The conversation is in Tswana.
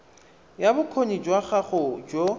ya bokgoni jwa gago jo